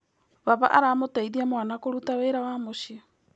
Baba aramũteithia mwana kũruta wĩra wa mũciĩ.